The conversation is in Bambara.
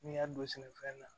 N'i y'a don sɛnɛfɛn na